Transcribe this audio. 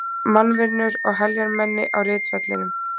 Mannvinur og heljarmenni á ritvellinum.